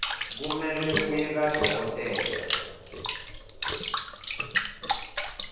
kumele uye kadokotela